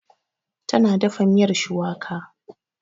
Ta na dafa miyar shuwaka.